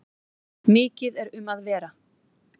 Mikið er um að vera.